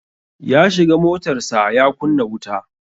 Ya shiga motarsa ​​ya kunna wuta.